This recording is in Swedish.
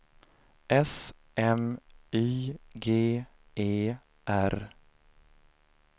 S M Y G E R